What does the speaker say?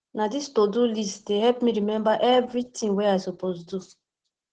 na dis todo list dey help me remember everytin wey i suppose do